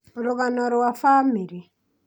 rũgano rwa bamĩrĩ